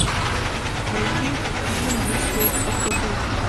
найти фильм выстрел в пустоту